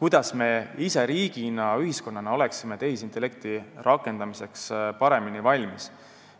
kuidas me ise riigina, ühiskonnana oleksime tehisintellekti rakendamiseks paremini valmis, iseäranis täiendus- ja ümberõppe seisukohast.